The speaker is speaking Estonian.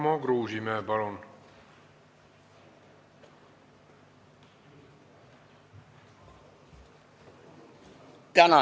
Tarmo Kruusimäe, palun!